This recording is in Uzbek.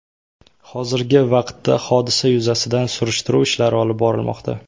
Hozirgi vaqtda hodisa yuzasidan surishtiruv ishlari olib borilmoqda.